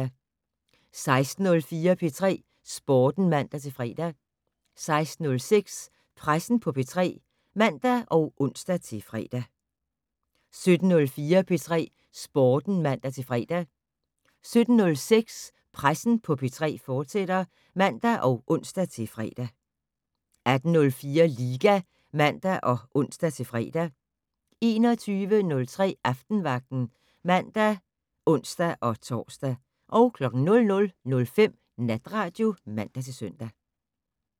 16:04: P3 Sporten (man-fre) 16:06: Pressen på P3 (man og ons-fre) 17:04: P3 Sporten (man-fre) 17:06: Pressen på P3, fortsat (man og ons-fre) 18:04: Liga (man og ons-fre) 21:03: Aftenvagten (man og ons-tor) 00:05: Natradio (man-søn)